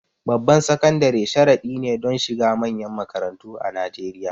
Babban sakandare sharadi ne don shiga manyan makarantu a Najeriya.